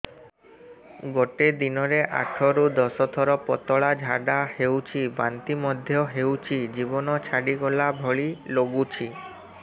ଗୋଟେ ଦିନରେ ଆଠ ରୁ ଦଶ ଥର ପତଳା ଝାଡା ହେଉଛି ବାନ୍ତି ମଧ୍ୟ ହେଉଛି ଜୀବନ ଛାଡିଗଲା ଭଳି ଲଗୁଛି